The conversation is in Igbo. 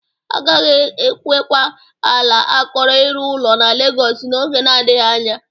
Agaghị enwekwa ala akọrọ ịrụ ụlọ na Legọs n'oge nadịghị anya.